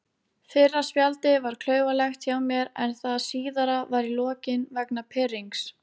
Fyrra spjaldið var klaufalegt hjá mér en það síðara var í lokin vegna pirrings.